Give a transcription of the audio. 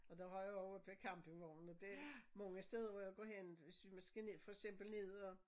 Og der har jeg også oppe ved campingvognen og det mange steder hvor jeg går hen hvis vi må skal ned og for eksempel ned og